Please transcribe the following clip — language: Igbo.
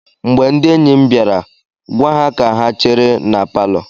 Mgbe ndị enyi m bịara, gwa ha ka ha chere na palọ.